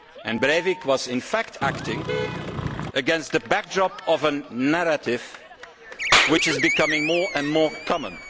Breivik was in fact acting against the backdrop of a narrative which is becoming more and more common.